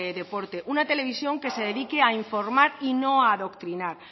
deporte una televisión que se dedique a informar y no a adoctrinar